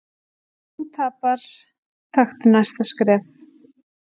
Ef þú tapar, taktu næsta skref.